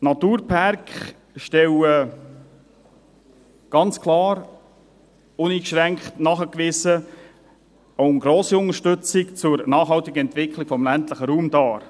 Naturpärke stellen ganz klar, uneingeschränkt nachgewiesen, eine grosse Unterstützung der nachhaltigen Entwicklung des ländlichen Raums dar.